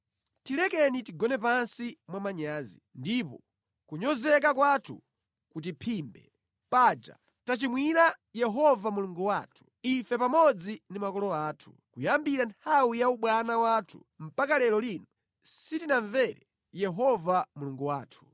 Tilekeni tigone pansi mwa manyazi, ndipo kunyozeka kwathu kutiphimbe. Paja tachimwira Yehova Mulungu wathu, ife pamodzi ndi makolo athu kuyambira nthawi ya ubwana wathu mpaka lero lino sitinamvere Yehova Mulungu wathu.”